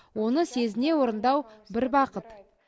оны сезіне орындау бір бақыт